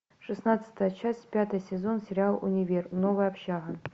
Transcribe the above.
шестнадцатая часть пятый сезон сериал универ новая общага